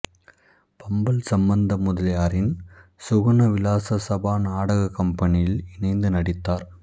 பம்மல் சம்பந்த முதலியாரின் சுகுண விலாச சபா நாடகக் கம்பனியில் இணைந்து நடித்தார்